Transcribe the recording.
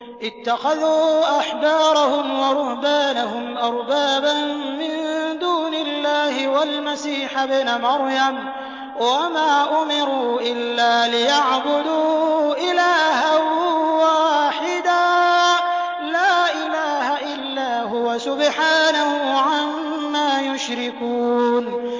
اتَّخَذُوا أَحْبَارَهُمْ وَرُهْبَانَهُمْ أَرْبَابًا مِّن دُونِ اللَّهِ وَالْمَسِيحَ ابْنَ مَرْيَمَ وَمَا أُمِرُوا إِلَّا لِيَعْبُدُوا إِلَٰهًا وَاحِدًا ۖ لَّا إِلَٰهَ إِلَّا هُوَ ۚ سُبْحَانَهُ عَمَّا يُشْرِكُونَ